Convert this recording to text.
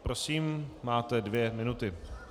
Prosím, máte dvě minuty.